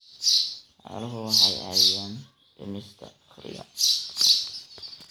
Xooluhu waxay caawiyaan dhimista faqriga.